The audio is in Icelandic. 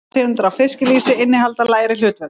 Aðrar tegundir af fiskilýsi innihalda lægri hlutföll.